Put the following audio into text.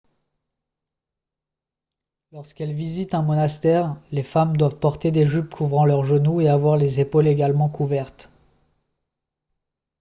lorsqu'elles visitent un monastère les femmes doivent porter des jupes couvrant leurs genoux et avoir les épaules également couvertes